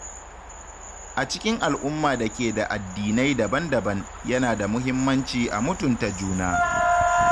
A cikin al’umma da ke da addinai daban-daban, yana da muhimmanci a mutunta juna.